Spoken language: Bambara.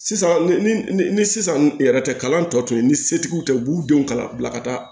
Sisan ni sisan yɛrɛ tɛ kalan tɔ tun ye ni setigiw tɛ u b'u denw kalan bila ka taa